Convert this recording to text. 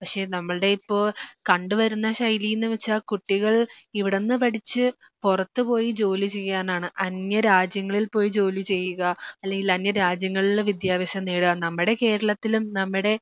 പക്ഷേ നമ്മളുടെ ഇപ്പോ കണ്ടുവരുന്ന ശൈലീന്നുവെച്ചാൽ കുട്ടികൾ ഇവിടുന്ന് പഠിച്ച് പുറത്തുപോയി ജോലി ചെയ്യാനാണ്. അന്യരാജ്യങ്ങളിൽ പോയി ജോലി ചെയ്യുക അല്ലെങ്കിൽ അന്യരാജ്യങ്ങളിലെ വിദ്യാഭ്യാസം നേടുക നമ്മുടെ കേരളത്തിലും നമ്മുടെ